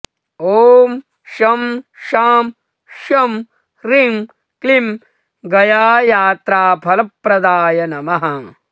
ॐ शं शां षं ह्रीं क्लीं गयायात्राफलप्रदाय नमः